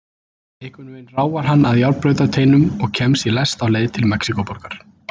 Einhvern veginn ráfar hann að járnbrautarteinum og kemst í lest á leið til Mexíkóborgar.